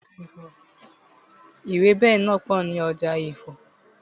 Ewẹ́bẹ̀ náà pò ní ọjà Ifo.